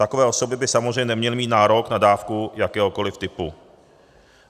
Takové osoby by samozřejmě neměly mít nárok na dávku jakéhokoliv typu.